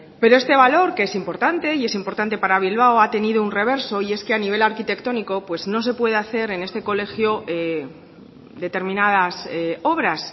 pero este valor que es importante y es importante para bilbao ha tenido un reverso y es que a nivel arquitectónico pues no se puede hacer en este colegio determinadas obras